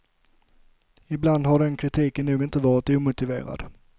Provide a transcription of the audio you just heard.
Ibland har den kritiken nog inte varit omotiverad.